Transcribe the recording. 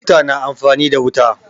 Mota na amfani da wuta.